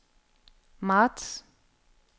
marts